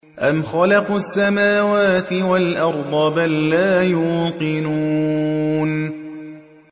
أَمْ خَلَقُوا السَّمَاوَاتِ وَالْأَرْضَ ۚ بَل لَّا يُوقِنُونَ